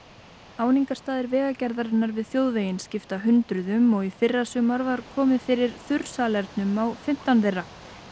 áningarstaðir Vegagerðarinnar við þjóðveginn skipta hundruðum og í fyrrasumar var komið fyrir þurrsalernum á fimmtán þeirra